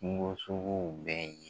Kungo suguw bɛɛ ye.